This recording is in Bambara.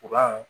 Kuran